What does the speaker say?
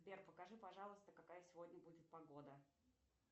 сбер покажи пожалуйста какая сегодня будет погода